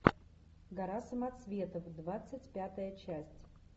гора самоцветов двадцать пятая часть